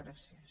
gràcies